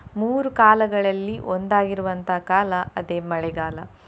ಮೂರು ಕಾಲಗಳಲ್ಲಿ ಒಂದಾಗಿರುವಂತ ಕಾಲ ಅದೇ ಮಳೆಗಾಲ.